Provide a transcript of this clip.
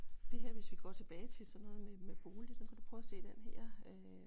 Det her hvis vi går tilbage til sådan noget med med bolig så kan du prøve at se den her øh